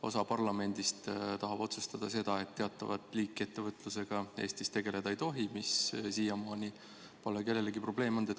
Osa parlamendist tahab otsustada seda, et teatavat liiki ettevõtlusega Eestis tegeleda ei tohi, ehkki siiamaani pole see kellelegi probleem olnud.